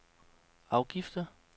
afgifter